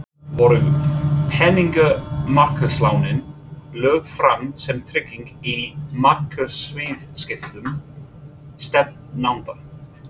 Voru peningamarkaðslánin lögð fram sem trygging í markaðsviðskiptum stefnanda?